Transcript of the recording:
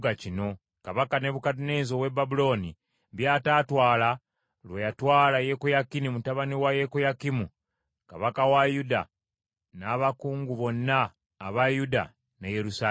kabaka Nebukadduneeza ow’e Babulooni by’ataatwala lwe yatwala Yekoyakini mutabani wa Yekoyakimu kabaka wa Yuda n’abakungu bonna aba Yuda ne Yerusaalemi.